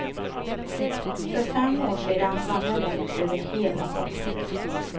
För fem år sedan vann jag lätt över hela kopplet.